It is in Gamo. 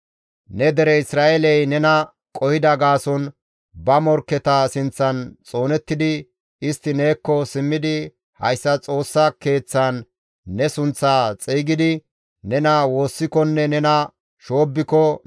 «Ne dere Isra7eeley nena qohida gaason ba morkketa sinththan xoonettidi, istti neekko simmidi hayssa Xoossa Keeththan ne sunththaa xeygidi nena woossikonne nena shoobbiko,